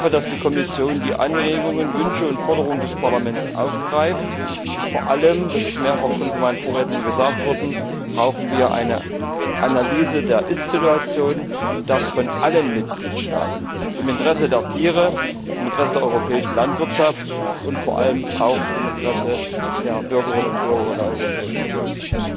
Ich hoffe, dass die Kommission die Anregungen, Wünsche und Forderungen des Parlaments aufgreift, und vor allem das ist mehrfach schon von meinen Vorrednern gesagt worden brauchen wir eine Analyse der Ist Situation von allen Mitgliedstaaten im Interesse der Tiere, im Interesse der europäischen Landwirtschaft und vor allem auch im Interesse der Bürgerinnen und Bürger der Europäischen Union.